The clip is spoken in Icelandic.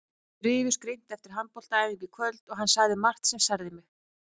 Við rifumst grimmt eftir handboltaæfinguna í kvöld og hann sagði margt sem særði mig.